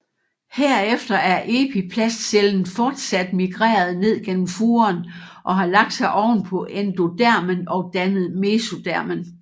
Herefter er epiplastcellen fortsat migreret ned gennem furen og har lagt sig oven på endodermen og dannet mesodermen